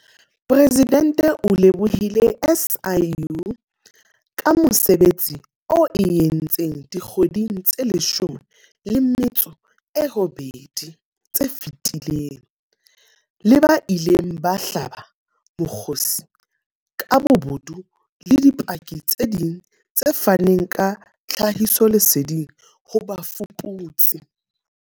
Presidente o lebohile SIU ka mosebetsi oo e o entseng dikgweding tse 18 tse fetileng, le ba ileng ba hlaba mokgosi ka bobodu le dipaki tse ding tse faneng ka tlhahisoleseding ho bafuputsi.